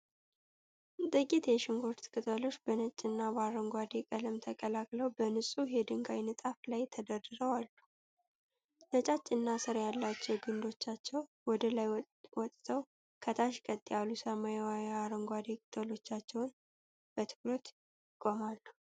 ጥቂት የሽንኩርት ቅጠሎች በነጭና በአረንጓዴ ቀለም ተቀላቅለው በንጹህ የድንጋይ ንጣፍ ላይ ተደርድረው አሉ። ነጫጭና ሥር ያላቸው ግንዶቻቸው ወደ ላይ ወጥተው ከታች፣ ቀጥ ያሉ ሰማያዊ አረንጓዴ ቅጠሎቻቸው በትኩረት ይቆማሉ።